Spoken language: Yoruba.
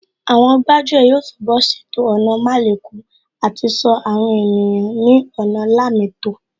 Àwọn gbájú ẹ̀ yóò túnbọ̀ ṣètò ọ̀nà málekọ̀ àti ṣọ́ àwọn ènìyàn ní ọ̀nà lámẹ́ẹ̀tọ́